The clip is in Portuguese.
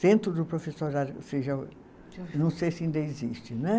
Centro do professorado, ou seja, não sei se ainda existe, né?